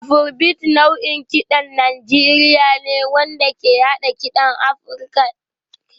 Afrobeat nau'in kiɗan Najeriya ne wanda ke haɗa kiɗan Afirka ta Yamma da funk na Amurka da jazz